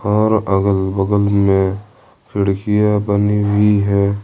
और अगल बगल में खिड़कियां बनी हुई है ।